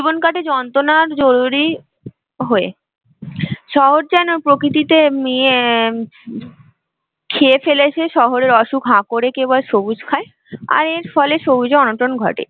সেখানে জীবন কাটে যন্ত্রনার জরুরি হয়ে, শহর যেন প্রকৃতিতে ইয়ে হম খেয়ে ফেলেছে শহরের অসুখ হা করে কেবল সবুজ খায় আর এর ফলে সবুজে অনটন ঘটে